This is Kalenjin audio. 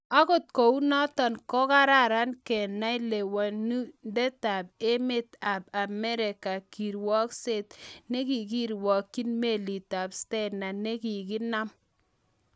Angot kounotok ko kararan kenai lewalundai emet ab Amerika kirwagkset nekirwagyin Melit ab Stena nekokinam